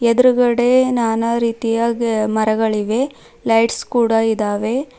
ಎದ್ರುಗಡೆ ನಾನಾ ರೀತಿಯ ಗಿ ಮರಗಳಿಗೆ ಲೈಟ್ಸ್ ಕೂಡ ಇದಾವೆ.